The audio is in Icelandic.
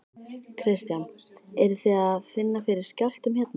Kristján: Eruð þið að finna fyrir skjálftum hérna?